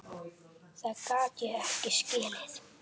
Það gat ég ekki skilið.